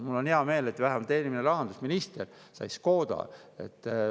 Mul on hea meel, et vähemalt eelmine rahandusminister sai Škoda.